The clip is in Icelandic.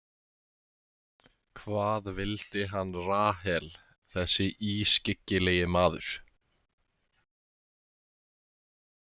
Hvað vildi hann Rahel, þessi ískyggilegi maður?